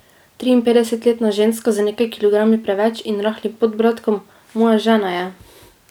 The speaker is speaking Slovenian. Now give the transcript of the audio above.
Triinpetdesetletna ženska z nekaj kilogrami preveč in rahlim podbradkom, moja žena je.